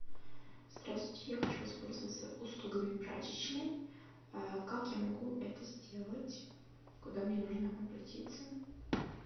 здравствуйте я хочу воспользоваться услугами прачечной как я могу это сделать куда мне нужно обратиться